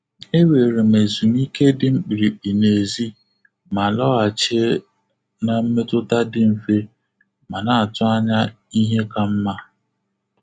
E were m ezumike dị mkpirikpi n'èzí, ma lọghachie na mmetụta dị mfe ma na-atụ anya ihe ka mma.